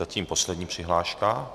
Zatím poslední přihláška.